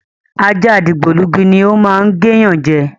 Ajá dìgbòlugi ni o máa ń gé yan je.